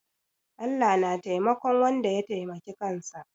Allah na taimakon wanda ya taimaki kansa.